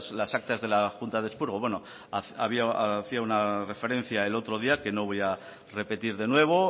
las actas de las juntas de expurgo bueno hacía una referencia el otro día que no voy a repetir de nuevo